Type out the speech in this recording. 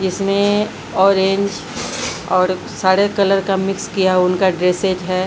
इसमें ऑरेंज और सारे कलर का मिक्स किया उनका ड्रेसेज है।